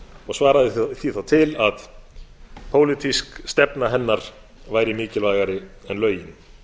og svaraði því þá til að pólitísk stefna hennar væri mikilvægari en lögin